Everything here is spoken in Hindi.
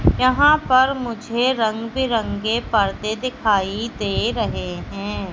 यहां पर मुझे रंग बिरंगे परदे दिखाई दे रहे हैं।